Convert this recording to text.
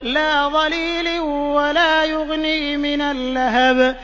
لَّا ظَلِيلٍ وَلَا يُغْنِي مِنَ اللَّهَبِ